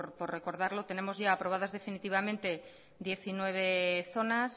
por recordarlo tenemos ya aprobadas definitivamente diecinueve zonas